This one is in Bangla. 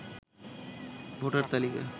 ভোটার তালিকা